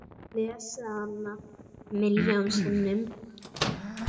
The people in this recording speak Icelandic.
Ég lesið hana milljón sinnum.